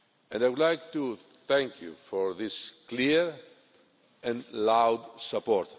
I would like to thank you for this clear and loud support.